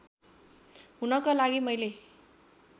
हुनका लागि मैले